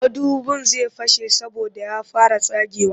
Madubin zai fashe saboda ya fara tsagewa